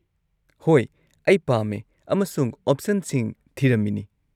ꯍꯣꯏ, ꯑꯩ ꯄꯥꯝꯃꯦ ꯑꯃꯁꯨꯡ ꯑꯣꯞꯁꯟꯁꯤꯡ ꯊꯤꯔꯝꯃꯤꯅꯤ꯫